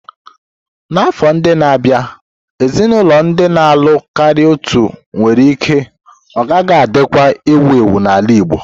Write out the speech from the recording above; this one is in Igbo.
N'afọ ndị na-abịa, ezinaụlọ ndị na-alụ karịa otu nwere ike ọ gaghị adịkwa ewu ewu n'ala Igbo.